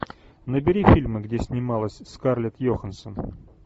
набери фильмы где снималась скарлетт йоханссон